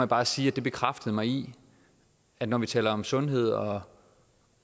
bare sige at det bekræftede mig i at når vi taler om sundhed og